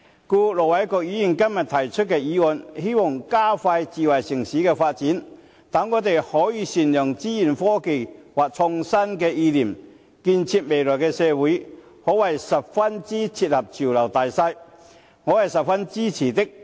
因此，盧偉國議員今天提出的議案，希望加快推動智慧城市的發展，讓我們可以善用資訊科技或創新意念，建設未來社會，可謂十分切合潮流大勢，我是十分支持的。